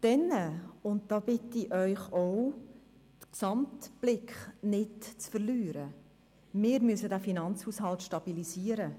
Des Weiteren müssen wir auch – und da bitte ich Sie, den Gesamtblick nicht zu verlieren – den Finanzhaushalt stabilisieren.